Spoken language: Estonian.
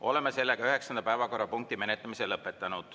Oleme üheksanda päevakorrapunkti menetlemise lõpetanud.